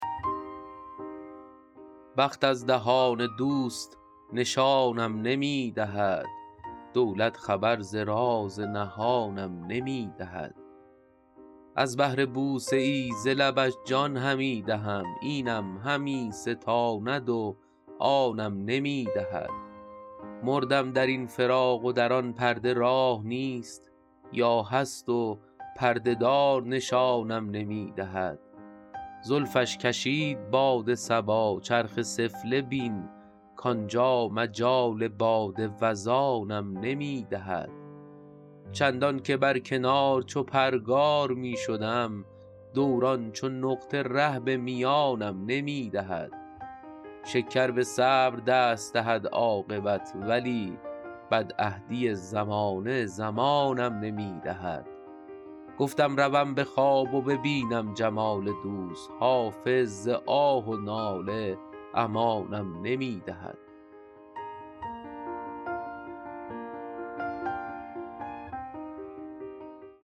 بخت از دهان دوست نشانم نمی دهد دولت خبر ز راز نهانم نمی دهد از بهر بوسه ای ز لبش جان همی دهم اینم همی ستاند و آنم نمی دهد مردم در این فراق و در آن پرده راه نیست یا هست و پرده دار نشانم نمی دهد زلفش کشید باد صبا چرخ سفله بین کانجا مجال باد وزانم نمی دهد چندان که بر کنار چو پرگار می شدم دوران چو نقطه ره به میانم نمی دهد شکر به صبر دست دهد عاقبت ولی بدعهدی زمانه زمانم نمی دهد گفتم روم به خواب و ببینم جمال دوست حافظ ز آه و ناله امانم نمی دهد